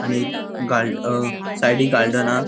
आणि गालड़ अ साइडिक गार्डन हा.